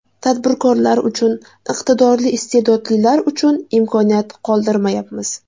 Tadbirkorlar uchun, iqtidorli, iste’dodlilar uchun imkoniyat qoldirmayapmiz.